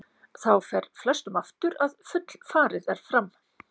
Þá fer flestum aftur að fullfarið er fram.